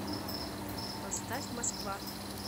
поставь москва